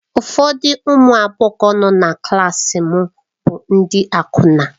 Ụfọdụ ụmụ agbọghọ nọ na klaasị m bụ ndị akwụna.